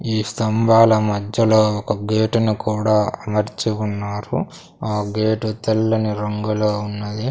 ఈ స్తంభాల మధ్యలో ఒక గేటు ను కూడా అమర్చి ఉన్నారు ఆ గేటు తెల్లని రంగులో ఉన్నది.